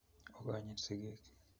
Ogonyit sigiik